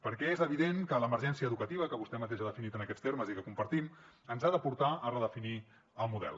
perquè és evident que l’emergència educativa que vostè mateix ha definit en aquests termes i que compartim ens ha de portar a redefinir el model